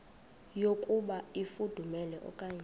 yokuba ifudumele okanye